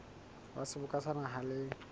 wa seboka sa naha le